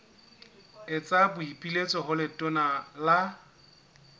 etsa boipiletso ho letona la